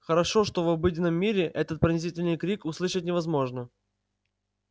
хорошо что в обыденном мире этот пронзительный крик услышать невозможно